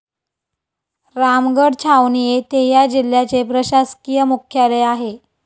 रामगड छावणी येथे ह्या जिल्ह्याचे प्रशासकीय मुख्यालय आहे.